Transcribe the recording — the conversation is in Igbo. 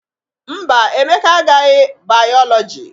Mba, Emeka agaghị bayọlọji